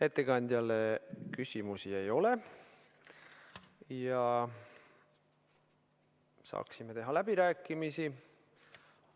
Ettekandjale küsimusi ei ole ja saame alustada läbirääkimisi.